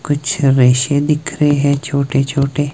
कुछ रेशे दिख रहे हैं छोटे छोटे--